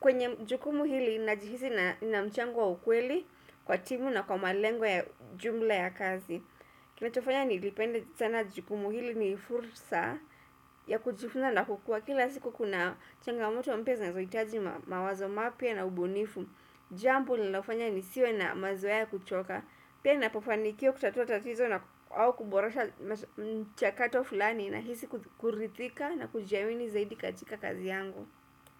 Kwenye jukumu hili, najihisi na na mchango wa ukweli, kwa timu na kwa malengo ya jumla ya kazi. Kinachofanya nilipende sana jikumu hili, ni furusa ya kujifunza na kukua. Kila siku kuna changamoto mpya zinazohitaji ma, mawazo mapya na ubunifu, Jambo linalofanya nisiwe na mazoea ya kuchoka. Pia ninapofanikiwa kutatua tatizo naku au kuboresha m mmh, mchakato fulani nahisi kuzi, kuridhika na kujiamini zaidi katika kazi yangu.